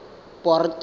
port